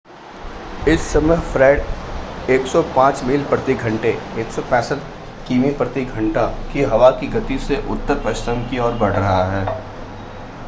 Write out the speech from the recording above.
इस समय फ़्रेड 105 मील प्रति घंटे 165 किमी प्रति घंटा की हवा की गति से उत्तर-पश्चिम की ओर बढ़ रहा है